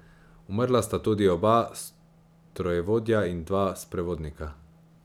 Umrla sta tudi oba strojevodja in dva sprevodnika.